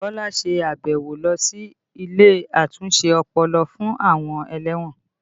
Bukola ṣe àbẹ̀wò lọ sí ilé àtúnṣe ọpọlọ fún àwọn ẹlẹ́wọ̀n